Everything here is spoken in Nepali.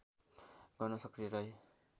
गर्न सक्रिय रहे